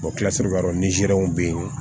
kilasi yɔrɔ nizeriw bɛ yen